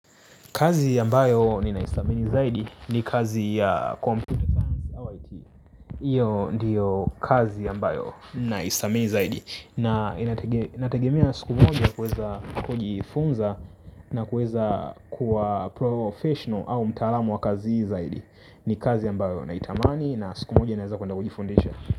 Kazi ambayo ni naistamini zaidi ni kazi ya computer science au IT iyo ndiyo kazi ambayo naistamini zaidi. Na inatege inategemea siku moja kuweza kuji funza na kuweza kuwa professional au mtaalamu wa kazi hii zaidi. Ni kazi ambayo na itamani na siku moja naeza kuenda kuji fundisha.